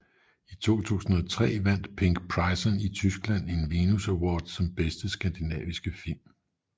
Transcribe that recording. I 2003 vandt Pink Prison i Tyskland en Venus Award som Bedste Skandinaviske Film